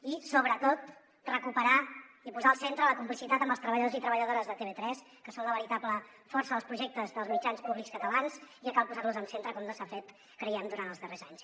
i sobretot recuperar i posar al centre la complicitat amb els treballadors i treballadores de tv3 que són la veritable força dels projectes dels mitjans públics catalans i que cal posar los al centre com no s’ha fet creiem durant els darrers anys